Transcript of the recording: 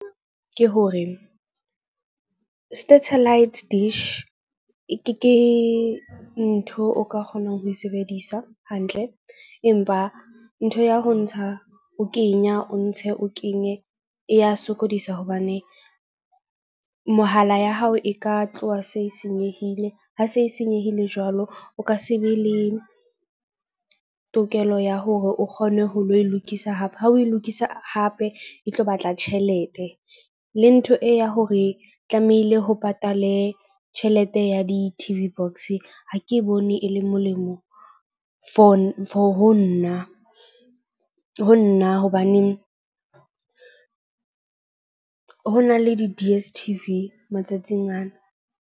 Ke hore satellite dish ke ntho o ka kgonang ho e sebedisa hantle, empa ntho ya ho ntsha o kenya, o ntshe o kenye, e ya sokodisa hobane mohala ya hao e ka tloha se e senyehile, ha se e senyehile jwalo. O ka se be le tokelo ya hore o kgone ho lo e lokisa hape ha o lo e lokisa hape e tlo batla tjhelete. Le ntho e ya hore tlamehile ho patale tjhelete ya di-T_V Box ha ke bone e le molemo for ho nna hobaneng ho na le di-D_S_T_V matsatsing ana.